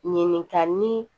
Ɲininkali